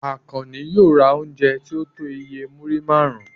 Àkànní yóò ra oúnjẹ tí ó tó iye múrí márùn-ún.